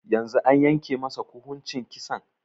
Yanzun an yanke masa kuhuncin Kisan?